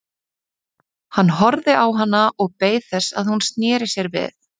Hann horfði á hana og beið þess að hún sneri sér við.